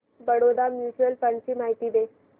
Baroda mutual fund ची माहिती दे